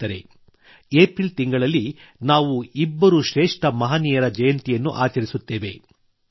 ಸ್ನೇಹಿತರೇ ಏಪ್ರಿಲ್ ತಿಂಗಳಲ್ಲಿ ನಾವು ಇಬ್ಬರು ಶ್ರೇಷ್ಠ ಮಹನೀಯರ ಜಯಂತಿಯನ್ನು ಆಚರಿಸುತ್ತೇವೆ